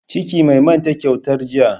Ciki, mai manta kyautar jiya.